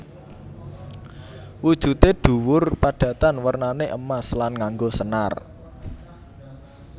Wujude dhuwur padatan wernané emas lan nganggo senar